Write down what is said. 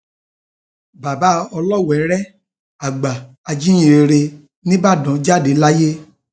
bàbá olóweere àgbà ajíhìnrere nìbàdàn jáde láyé